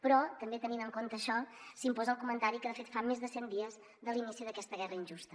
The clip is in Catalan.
però també tenint en compte això s’imposa el comentari que de fet fa més de cent dies de l’inici d’aquesta guerra injusta